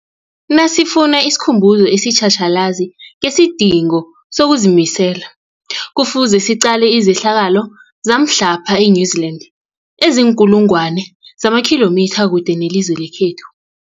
Nasifuna isikhumbuzo esitjhatjhalazi ngesidingo sokuzimisela, Kufuze siqale izehlakalo zamhlapha e-New Zealand eziinkulu ngwana zamakhilomitha kude nelizwe lekhethu.